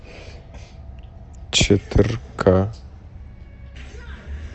четырка